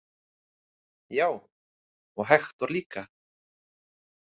Já, og Hektor líka.